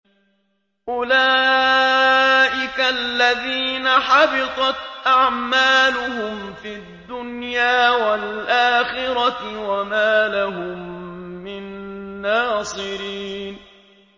أُولَٰئِكَ الَّذِينَ حَبِطَتْ أَعْمَالُهُمْ فِي الدُّنْيَا وَالْآخِرَةِ وَمَا لَهُم مِّن نَّاصِرِينَ